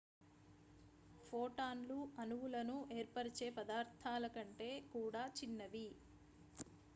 ఫోటాన్లు అణువులను ఏర్పరచే పదార్థాల కంటే కూడా చిన్నవి